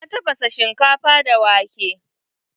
Na tafasa shinkafa da wake.